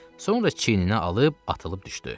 Sonra çiyninə alıb atılıb düşdü.